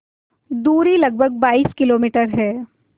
दूरी लगभग बाईस किलोमीटर है